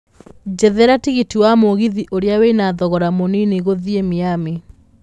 njethera tigiti wa mũgithi ũrĩa wĩna thogora mũnini gũthiĩ miamy